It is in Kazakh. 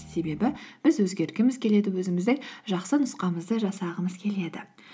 себебі біз өзгергіміз келеді өзіміздің жақсы нұсқамызды жасағымыз келеді